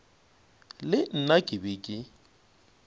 le nna ke be ke